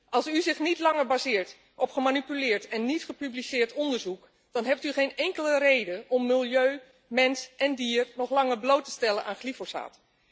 Als u zich niet langer baseert op gemanipuleerd en niet gepubliceerd onderzoek, dan heeft u geen enkele reden om milieu, mens en dier nog langer bloot te stellen aan glyfosaat.